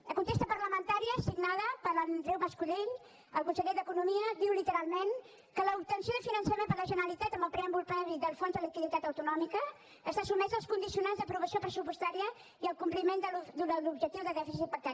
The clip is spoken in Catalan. la contesta parlamentària signada per andreu mascolell el conseller d’economia diu literalment que l’obtenció de finançament per la generalitat amb el preàmbul previ del fons de liquiditat autonòmica està sotmesa als condicionants d’aprovació pressupostària i al compliment de l’objectiu de dèficit pactat